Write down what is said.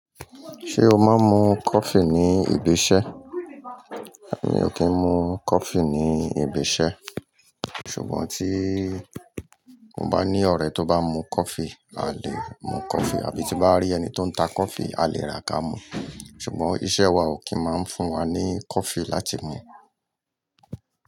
Ṣé o máa ń mu coffee ní ibi iṣẹ́? Èmi ò kí ń mu coffee ní ibi iṣẹ́. Ṣùgbọ́n tí mo bá ní ọ̀rẹ́ tó bá mu coffee, a lè mu coffee, àbí tí bá rí ẹni tó ń ta coffee, a lè rà ka mu. Ṣùgbọ́n iṣẹ́ wa ò kí máa ń fún wa ní coffee láti mu.